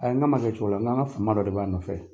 Ayi n ka ma kɛ cogola, n'an ka fama dɔ de b'a nɔfɛ.